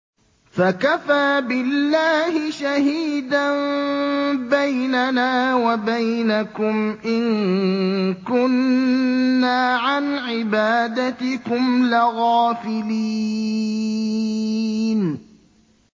فَكَفَىٰ بِاللَّهِ شَهِيدًا بَيْنَنَا وَبَيْنَكُمْ إِن كُنَّا عَنْ عِبَادَتِكُمْ لَغَافِلِينَ